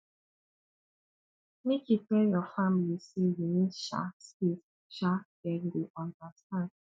make you tell your family sey you need um space um dem go understand